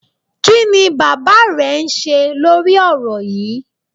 Kí ni bàbá rẹ ń ṣe lórí ọ̀rọ̀ yíì?